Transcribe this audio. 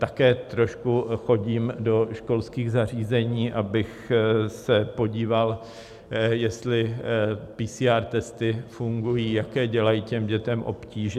Také trošku chodím do školských zařízení, abych se podíval, jestli PCR testy fungují, jaké dělají těm dětem obtíže.